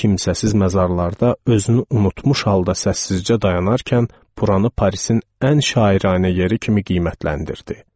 Bu kimsəsiz məzarlarda özünü unutmuş halda səssizcə dayanarkən buranı Parisin ən şairanə yeri kimi qiymətləndirdi.